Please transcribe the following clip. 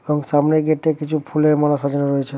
এবং সামনের গেট টায় কিছু ফুলের মালা সাজানো রয়েছে।